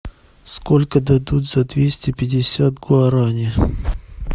сколько дадут за двести пятьдесят гуарани